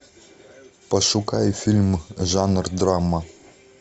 пошукай фильм жанр драма